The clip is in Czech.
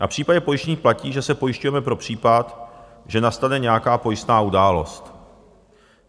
Na případě pojištění platí, že se pojišťujeme pro případ, že nastane nějaká pojistná událost.